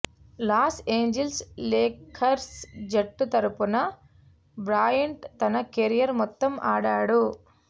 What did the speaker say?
loss Angeles Lakers జట్టు తరపున Bryant తన కెరీర్ మొత్తం ఆడాడు